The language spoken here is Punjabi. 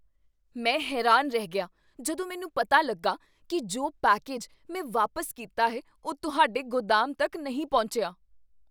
ਮੈਂ ਹੈਰਾਨ ਰਹਿ ਗਿਆ ਜਦੋਂ ਮੈਨੂੰ ਪਤਾ ਲੱਗਾ ਕੀ ਜੋ ਪੈਕੇਜ ਮੈਂ ਵਾਪਸ ਕੀਤਾ ਹੈ ਉਹ ਤੁਹਾਡੇ ਗੋਦਾਮ ਤੱਕ ਨਹੀਂ ਪਹੁੰਚਿਆ!